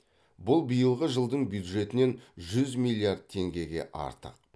бұл биылғы жылдың бюджетінен жүз миллиард теңгеге артық